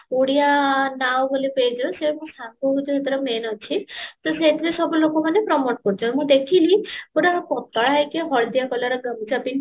ଓଡିଆ ନାଁ ବୋଲି pageର ସେ ମୋ ସାଙ୍ଗ ହଉଚି ସେଥିରେ main ଅଛି ତ ସେଇଥିରେ ସବୁ ଲୋକ ମାନେ promote କରୁଚନ୍ତି ମୁଁ ଦେଖିଲି ଗୋଟେ ପତଳା ହେଇକି ହଳଦିଆ color ଗାମୁଛା ପିନ୍ଧିଚି